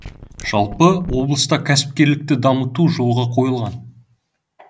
жалпы облыста кәсіпкерлікті дамыту жолға қойылған